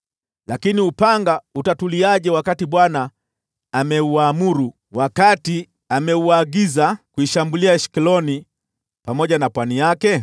Lakini upanga utatuliaje wakati Bwana ameuamuru, wakati ameuagiza kuishambulia Ashkeloni pamoja na pwani yake?”